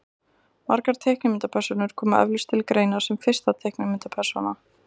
margar teiknimyndapersónur koma eflaust til greina sem fyrsta teiknimyndapersónan